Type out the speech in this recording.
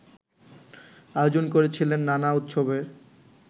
আয়োজন করেছিলেন নানা উৎসবের